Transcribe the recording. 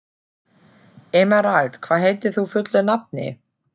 Emerald, hvað heitir þú fullu nafni?